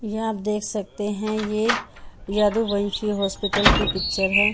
ये अप देख सकते हैं ये यदू वंशी हॉस्पिटल की पिक्चर है।